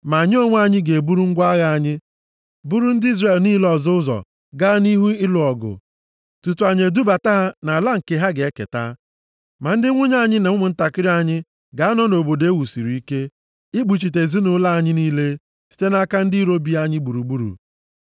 Ma anyị onwe anyị ga-eburu ngwa agha anyị, buru ndị Izrel niile ọzọ ụzọ gaa nʼihu ịlụ ọgụ, tutu anyị edubata ha nʼala nke ha ga-eketa. Ma ndị nwunye anyị na ụmụntakịrị anyị ga-anọ nʼobodo e wusiri ike, ikpuchite ezinaụlọ anyị niile site nʼaka ndị iro bi anyị gburugburu.